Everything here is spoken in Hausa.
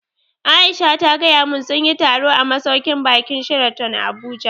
Aisha ta gaya mun sunyi taro a masauƙin baƙin Sheraton Abuja